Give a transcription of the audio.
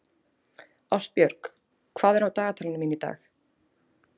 Ástbjörg, hvað er á dagatalinu mínu í dag?